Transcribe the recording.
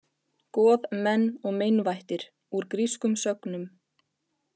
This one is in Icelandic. Goð, menn og meinvættir: Úr grískum sögnum.